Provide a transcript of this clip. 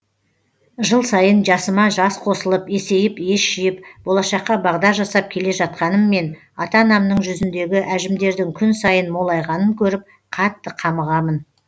жыл сайын жасыма жас қосылып есейіп ес жиып болашаққа бағдар жасап келе жатқаныммен ата анамның жүзіндегі әжімдердің күн сайын молайғанын көріп қатты қамығамын